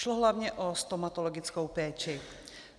Šlo hlavně o stomatologickou péči.